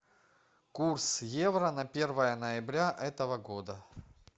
курс евро на первое ноября этого года